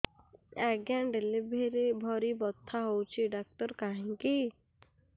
ଆଜ୍ଞା ଡେଲିଭରି ବଥା ହଉଚି ଡାକ୍ତର କାହିଁ କି